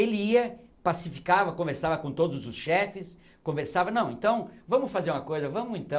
Ele ia, pacificava, conversava com todos os chefes, conversava, não, então, vamos fazer uma coisa, vamos então...